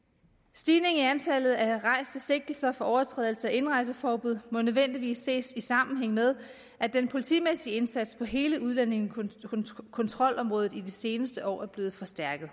stigningen i antallet af rejste sigtelser for overtrædelse af indrejseforbud må nødvendigvis ses i sammenhæng med at den politimæssige indsats på hele udlændingekontrolområdet i de seneste år er blevet forstærket